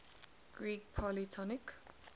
greek polytonic